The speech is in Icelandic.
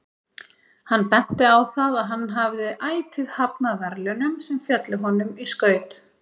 Hann benti á það að hann hafði ætíð hafnað verðlaunum sem féllu honum í skaut.